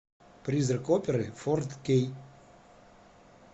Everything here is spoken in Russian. призрак оперы фор кей